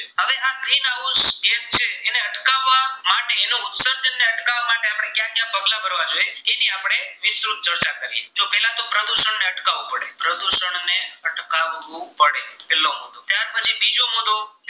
અટકાવવું પડે પ્રદુષણ અને અટકાવવું પડે પહેલો મુદ્દો ત્યાર પછી બીજો મુદ્દો